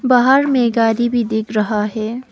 बाहर में गाड़ी भी देख रहा है।